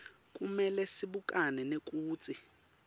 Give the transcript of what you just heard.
kumele sibukane nekutsi